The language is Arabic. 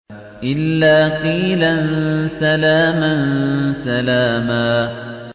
إِلَّا قِيلًا سَلَامًا سَلَامًا